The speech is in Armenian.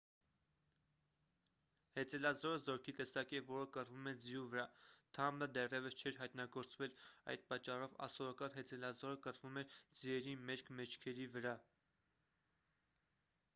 հեծելազորը զորքի տեսակ է որը կռվում է ձիու վրա թամբը դեռևս չէր հայտնագործվել այդ պատճառով ասորական հեծելազորը կռվում էր ձիերի մերկ մեջքերի վրա